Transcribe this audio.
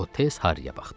O tez Harriyə baxdı.